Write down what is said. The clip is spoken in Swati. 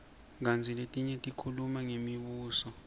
kantsi letinye tikhuluma ngemibuso